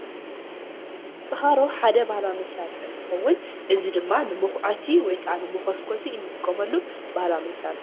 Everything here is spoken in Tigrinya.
ጭኮሮ ሓደ ናይ ባህላዊ መሳርሒ እንትኸውን እዙይ ድማ ንመኩዐቲ ወይ ከዓ ንመኮስኮሲ እንጥቀመሉ ባህላዊ መሳርሒ እዩ።